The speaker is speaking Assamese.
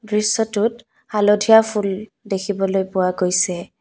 দৃশ্যটোত হালধীয়া ফুল দেখিবলৈ পোৱা গৈছে।